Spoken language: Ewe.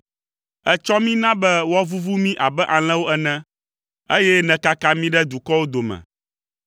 Ètsɔ mí na be woavuvu mí abe alẽwo ene, eye nèkaka mí ɖe dukɔwo dome.